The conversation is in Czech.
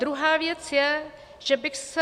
Druhá věc je, že bych se...